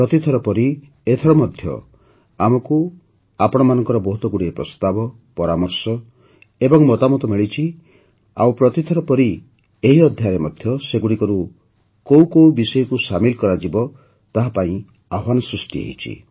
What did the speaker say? ପ୍ରତିଥର ପରି ଏଥର ମଧ୍ୟ ଆମକୁ ଆପଣଙ୍କ ବହୁତଗୁଡ଼ିଏ ପ୍ରସ୍ତାବ ପରାମର୍ଶ ଏବଂ ମତାମତ ମିଳିଛି ଆଉ ପ୍ରତିଥର ପରି ଏହି ଅଧ୍ୟାୟରେ ମଧ୍ୟ ସେଗୁଡ଼ିକରୁ କେଉଁ କେଉଁ ବିଷୟକୁ ସାମିଲ୍ କରାଯିବ ତାହା ଆହ୍ୱାନ ସୃଷ୍ଟି କରିଛି